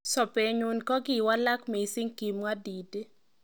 "Sobennyu kokikowalak mising",kimwa Didi.